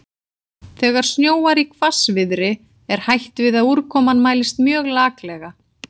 Þegar snjóar í hvassviðri er hætt við að úrkoman mælist mjög laklega.